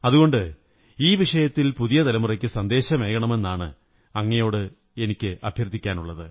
അതുകൊണ്ട് ഈ വിഷയത്തിൽ പുതിയ തലമുറയ്ക്ക് സന്ദേശമേകണമെന്ന് അങ്ങയോട് അഭ്യര്ഥി്ക്കുന്നു